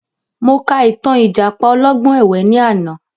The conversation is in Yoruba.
Mo ka ìtàn ìjàpá ọlọ́gbọ́n ẹ̀wẹ ni àná